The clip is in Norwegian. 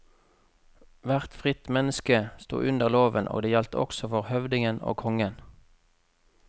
Hvert fritt menneske sto under loven og det gjaldt også for høvdingen og kongen.